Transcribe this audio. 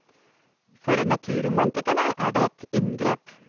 For naturromantikerne er det et inngrep.